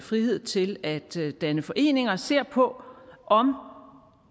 frihed til at danne foreninger ser på om